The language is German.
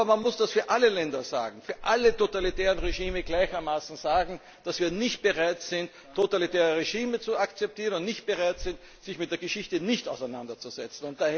Aber man muss das für alle Länder, für alle totalitären Regime gleichermaßen sagen, dass wir nicht bereit sind, totalitäre Regime zu akzeptieren und nicht bereit sind, dass man sich mit der Geschichte nicht auseinandersetzt.